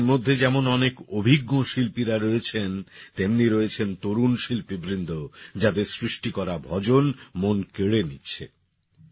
এদের মধ্যে যেমন অনেক অভিজ্ঞ শিল্পীরা রয়েছেন তেমনি রয়েছেন তরুণ শিল্পীবৃন্দ যাদের সৃষ্টি করা ভজন মন কেড়ে নিচ্ছে